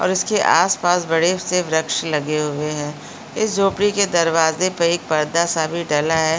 और उसके आस-पास बड़े से वृक्ष लगे हुए हैं इस झोपरी के दरवाज़े पे एक पर्दा सा भी डला है।